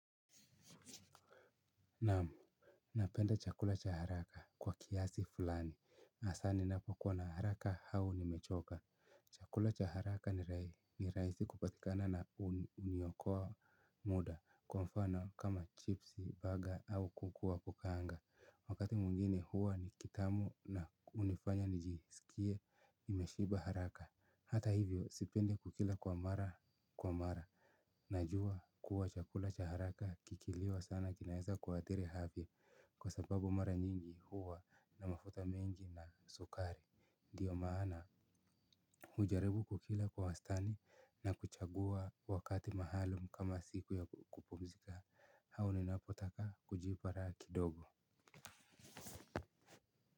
Naam, napenda chakula cha haraka kwa kiasi fulani, hasa ninapo kuwa na haraka au nimechoka chakula cha haraka ni rahisi kupatikana na huniokoa muda kwa mfano kama chips, baga au kuku wa kukaanga wakati mwingine huwa ni kitamu na hunifanya nijisikie nimeshiba haraka, hata hivyo sipendi kukila kwa mara kwa mara najua kuwa chakula cha haraka kikiliwa sana kinaweza kuathiri afya kwa sababu mara nyingi huwa na mafuta mengi na sukari ndiyo maana hujaribu kukila kwa wastani na kuchagua wakati maalumu kama siku ya kupumzkia au ninapotaka kujipa raha kidogo.